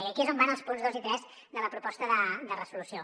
i aquí és on van els punts dos i tres de la proposta de resolució